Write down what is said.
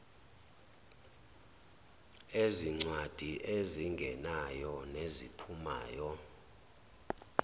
ezincwadi ezingenayo neziphumayo